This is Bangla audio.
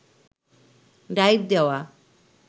ডাইভ দেওয়া